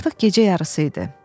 Artıq gecə yarısı idi.